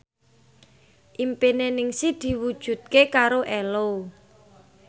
impine Ningsih diwujudke karo Ello